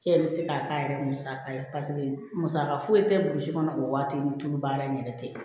Cɛ bɛ se k'a k'a yɛrɛ ye musaka ye paseke musaka foyi tɛ burusi kɔnɔ o waati ni tulu baara in yɛrɛ tɛ